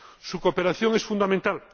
Su cooperación es fundamental.